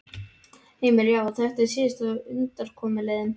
Heimir: Já, og þetta er síðasta undankomuleiðin?